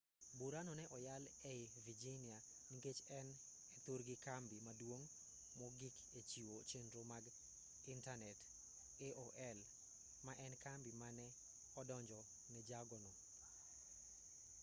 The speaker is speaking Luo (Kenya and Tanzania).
burano ne oyal ei virginia nikech en e thurgi kambi maduong' mogik e chiwo chenro mag intanet aol ma en e kambi mane odonjo ne jago no